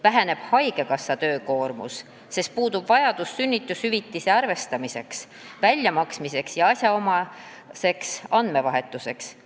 Väheneb haigekassa töökoormus, sest puudub vajadus sünnitushüvitise arvestamiseks, väljamaksmiseks ja asjaomaseks andmevahetuseks.